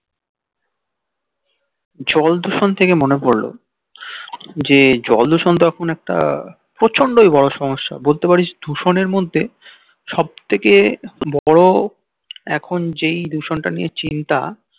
জল দূষণ থেকে মনে পড়লো যে জল দূষণ তো এখন একটা প্রচণ্ডই বড় সমস্য়া বলতে পারিস দূষণের মধ্যে সব থেকে বড় এখন যেই দূষণ টা নিয়ে চিন্তা